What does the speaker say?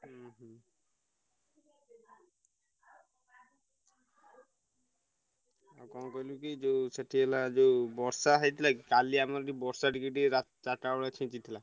ହୁଁ ହୁଁ। ଆଉ କଣ କହିଲୁକି ଯୋଉ ସେଠି ହେଲା ଯୋଉ ବର୍ଷା ହେଇଥିଲା କି କାଲି ଆମର ଏଠି ବର୍ଷା ଟିକେ ଟିକେ ରା ଚାରିଟା ବେଳେ ଛିଞ୍ଚିଥିଲା।